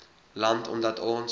land omdat ons